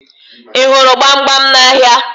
Ị hụrụ gbamgbam n'ahịa?